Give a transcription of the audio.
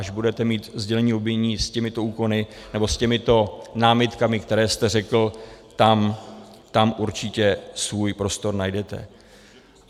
Až budete mít sdělení obvinění s těmito úkony, nebo s těmito námitkami, které jste řekl, tam určitě svůj prostor najdete.